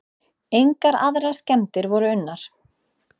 Engar aðrar skemmdir voru unnar.